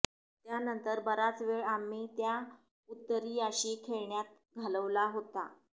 त्यानंतर बराच वेळ आम्ही त्या उत्तरीयाशी खेळण्यात घालवला होता